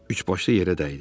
Üçbaşlı yerə dəydi.